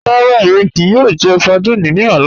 Ràrà, èmi kíí yòò jẹ̀ sárdínè ní ọlá.